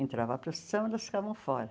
Entrava a procissão, elas ficavam fora.